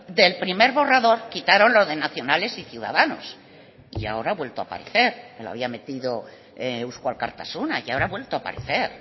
del primer borrador quitaron lo de nacionales y ciudadanos y ahora ha vuelto a aparecer lo había metido eusko alkartasuna y ahora ha vuelto a aparecer